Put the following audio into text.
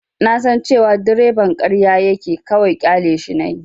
Na san cewa direban ƙarya yake, kawai ƙyaleshi nayi.